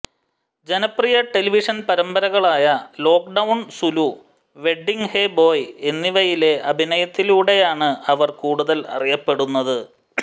ജനപ്രിയ ടെലിവിഷൻ പരമ്പരകളായ lockdown Zulu wedding hey boy എന്നിവയിലെ അഭിനയത്തിലൂടെയാണ് അവർ കൂടുതൽ അറിയപ്പെടുന്നത്